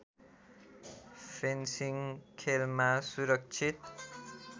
fencing खेलमा सुरक्षित